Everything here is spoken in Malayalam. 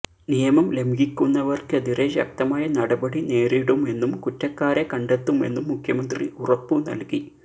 നിയമം ലംഘിക്കുന്നവർക്കെതിരെ ശക്തമായ നടപടി നേരിടുമെന്നും കുറ്റക്കാരെ കണ്ടെത്തുമെന്നും മുഖ്യമന്ത്രി ഉറപ്പുനൽകി